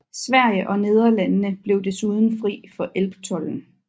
Sverige og Nederlandene blev desuden fri for elbtolden